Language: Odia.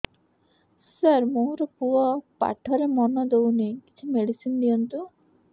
ସାର ମୋର ପୁଅ ପାଠରେ ମନ ଦଉନି କିଛି ମେଡିସିନ ଦିଅନ୍ତୁ